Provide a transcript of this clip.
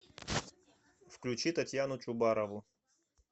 включи татьяну чубарову